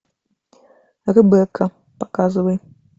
ребекка показывай